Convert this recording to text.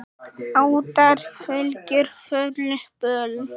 Ættarfylgjur, forlög, böl.